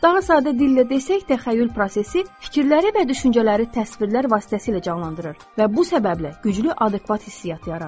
Daha sadə dillə desək, təxəyyül prosesi fikirləri və düşüncələri təsvirlər vasitəsilə canlandırır və bu səbəblə güclü adekvat hissiyat yaradır.